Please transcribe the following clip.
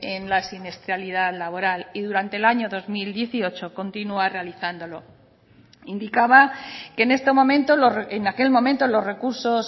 en la siniestralidad laboral y durante el año dos mil dieciocho continúa realizándolo indicaba que en este momento en aquel momento los recursos